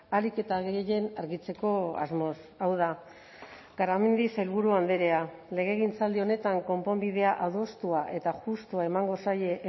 ahalik eta gehien argitzeko asmoz hau da garamendi sailburu andrea legegintzaldi honetan konponbidea adostua eta justua emango zaie